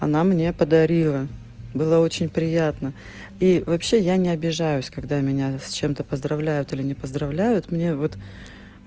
она мне подарила было очень приятно и вообще я не обижаюсь когда меня с чем-то поздравляют или не поздравляют мне вот